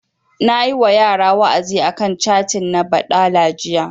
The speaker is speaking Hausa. Nayi wa yara wa'azi a kan catin na baɗala jiya